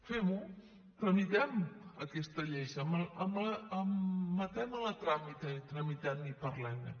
fem ho tramitem aquesta llei admetem la a tràmit tramitem la i parlem ne